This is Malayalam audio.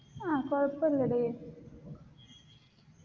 ആ കുഴപ്പല്ലടി